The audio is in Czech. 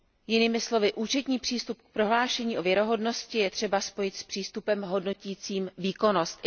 Jinými slovy, účetní přístup k prohlášení o věrohodnosti je třeba spojit s přístupem hodnotícím výkonnost.